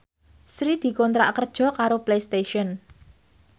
Sri dikontrak kerja karo Playstation